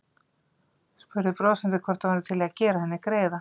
Spurði brosandi hvort hann væri til í að gera henni greiða.